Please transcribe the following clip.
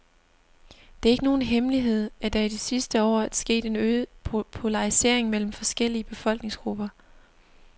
Det er ikke nogen hemmelighed, at der i de sidste år er sket en øget polarisering mellem forskellige befolkningsgrupper.